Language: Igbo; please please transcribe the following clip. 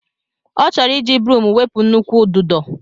Ọ chọrọ iji broom wepụ nnukwu ududo.